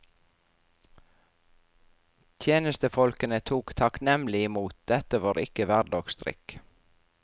Tjenestefolkene tok takknemlig imot, dette var ikke hverdagsdrikk.